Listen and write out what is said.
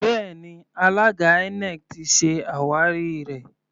Bẹ́ẹ̀ni, alága INEC ti se àwárí rẹ.